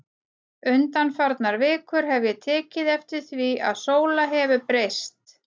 Undanfarnar vikur hef ég tekið eftir því að Sóla hefur breyst.